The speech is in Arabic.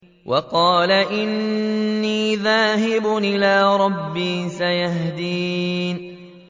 وَقَالَ إِنِّي ذَاهِبٌ إِلَىٰ رَبِّي سَيَهْدِينِ